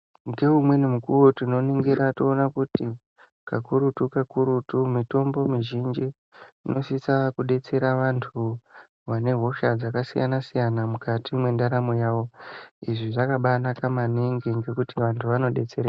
Ngeumweni mukuwo tinoningira toona kuti kakurutu-kakurutu mitombo mizhinji inosisa kudetsera vantu vanehosha dzakasiyana-siyana mukati mwendaramo yavo. Izvi zvakabaanaka maningi ngekuti vantu vanodetere...